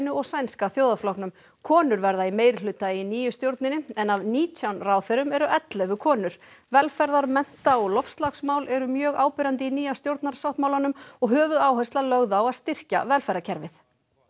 og Sænska konur verða í meirihluta í nýju stjórninni en af nítján ráðherrum eru ellefu konur velferðar mennta og loftslagsmál eru mjög áberandi í nýja stjórnarsáttmálanum og höfuðáhersla lögð á að styrkja velferðarkerfið